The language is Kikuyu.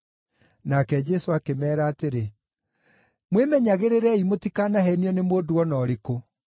Nake Jesũ akĩmeera atĩrĩ, “Mwĩmenyagĩrĩrei mũtikanaheenio nĩ mũndũ o na ũrĩkũ.